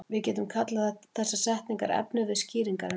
Við getum kallað þessar setningar efnivið skýringarinnar.